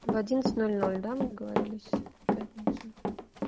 в одиннадцать ноль ноль да мы договорились пятницу